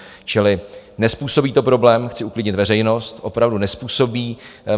Čili nezpůsobí to problém, chci uklidnit veřejnost, opravdu nezpůsobí.